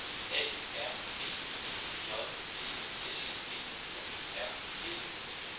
A R B E J D S B O R D